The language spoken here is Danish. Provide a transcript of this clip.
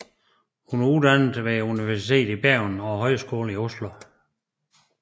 Hun er uddannet ved Universitetet i Bergen og Højskolen i Oslo